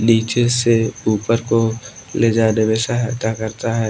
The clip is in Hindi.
नीचे से ऊपर को ले जाने में सहायता करता है।